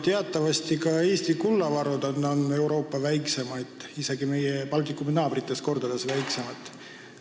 Teatavasti on Eesti kullavarud Euroopa väikseimad, need on isegi meie Baltikumi naabrite omadest kordades väiksemad.